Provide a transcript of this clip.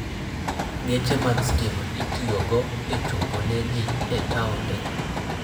Geche mag stima itiyogo e chopo ne ji e taonde.